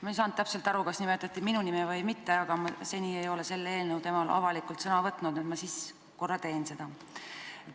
Ma ei saanud täpselt aru, kas nimetati minu nime või mitte, aga ma seni ei ole selle eelnõu teemal avalikult sõna võtnud, nii et ma siis nüüd korra teen seda.